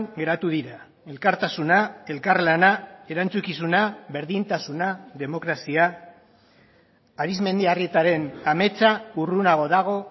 geratu dira elkartasuna elkarlana erantzukizuna berdintasuna demokrazia arizmendiarrietaren ametsa urrunago dago